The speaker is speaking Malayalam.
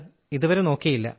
ഇതുവരെ നോക്കിയില്ല